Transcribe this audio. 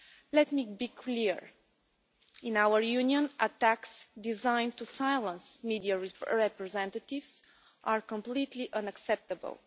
Let me be clear in our Union, attacks designed to silence media representatives are completely unacceptable.